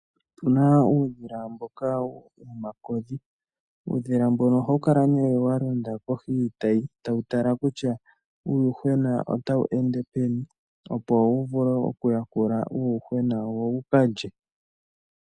Opuna uudhila mboka ha kutiwa omakodhi, uudhila mboka ohawu kala wa londa kohi yiitayi tawu tala kutya uuyuhwena otawu ende peni wu yakule po wo kalye.